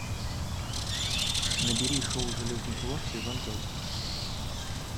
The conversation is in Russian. набери шоу железный кулак сезон пять